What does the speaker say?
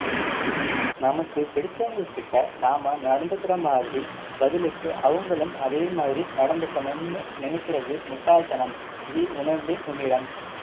நமக்கு பிடிச்சவங்ககிட்ட நாம நடந்துக்குற மாதிரி பதிலுக்கு அவங்களும் அதேமாதிரி நடந்துகனும்னு நினைக்கிறது முட்டாள் தனம் இதை உணர்ந்தேன் உன்னிடம்